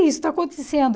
isso está acontecendo?